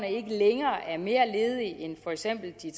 ikke længere er mere ledige end for eksempel de